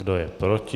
Kdo je proti?